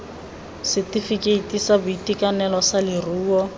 setefikeiti sa boitekanelo sa leruo